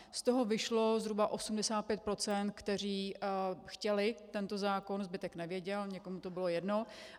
Z toho vyšlo zhruba 85 %, kteří chtěli tento zákon, zbytek nevěděl, někomu to bylo jedno.